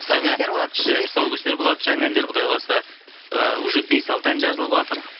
тұсаукесер болады тұсаукесер болады жаңа әндер құдай қаласа ы уже бес алты ән жазылыватыр